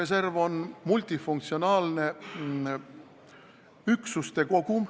See on multifunktsionaalne üksuste kogum.